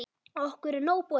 Okkur er nóg boðið